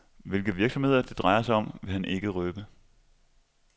Hvilke virksomheder det drejer sig om, vil han ikke røbe.